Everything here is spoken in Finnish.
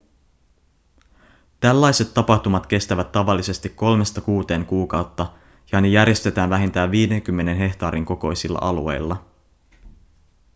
tällaiset tapahtumat kestävät tavallisesti kolmesta kuuteen kuukautta ja ne järjestetään vähintään 50 hehtaarin kokoisilla alueilla